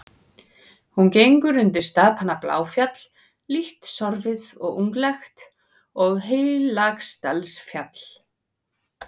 Hún gengur undir stapana Bláfjall, lítt sorfið og unglegt, og Heilagsdalsfjall.